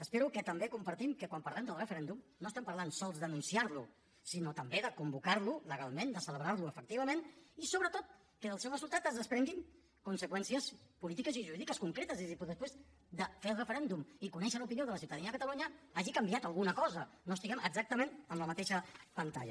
espero que també compartim que quan parlem del referèndum no parlem només d’anunciar lo sinó també de convocar lo legalment de celebrar lo efectivament i sobretot de que del seu resultat se’n desprenguin conseqüències polítiques i jurídiques concretes és a dir de que després de fer el referèndum i conèixer l’opinió de la ciutadania de catalunya hagi canviat alguna cosa que no estiguem exactament en la mateixa pantalla